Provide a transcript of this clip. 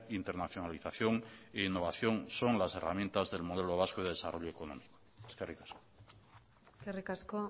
internacionalización e innovación son las herramientas del modelo vasco de desarrollo económico eskerrik asko eskerrik asko